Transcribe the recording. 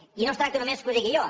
i no es tracta només que ho digui jo